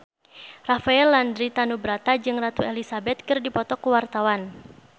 Rafael Landry Tanubrata jeung Ratu Elizabeth keur dipoto ku wartawan